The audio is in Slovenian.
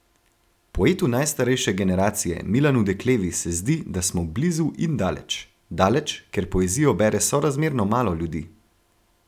Poetu najstarejše generacije Milanu Deklevi se zdi, da smo blizu in daleč: 'Daleč, ker poezijo bere sorazmerno malo ljudi.